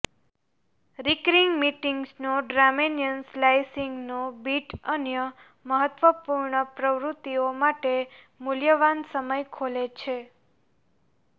recurring મીટિંગ્સનો ડ્રામેનિયન સ્લાઈસિંગનો બીટ અન્ય મહત્વપૂર્ણ પ્રવૃત્તિઓ માટે મૂલ્યવાન સમય ખોલે છે